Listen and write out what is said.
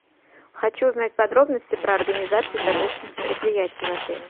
хочу узнать подробности про организацию торжественных мероприятий в отеле